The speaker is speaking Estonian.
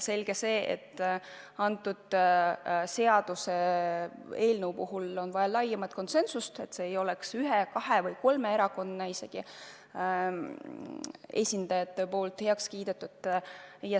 Selge see, et selle seaduseelnõu puhul on vaja laiemat konsensust, et see ei oleks ühe, kahe või kolme erakonna esindajate poolt heaks kiidetud.